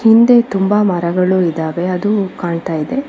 ಹಿಂದೆ ತುಂಬಾ ಮರಗಳು ಇದಾವೆ ಅದು ಕಾಣ್ತಾ ಇದೆ.